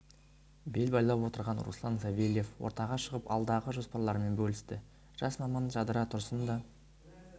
бел байлап отырған руслан савельев ортаға шығып алдағы жоспарларымен бөлісті жас маман жадыра тұрсын да